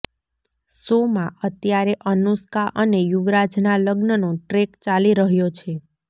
શોમાં અત્યારે અનુષ્કા અને યુવરાજના લગ્નનો ટ્રેક ચાલી રહ્યોછે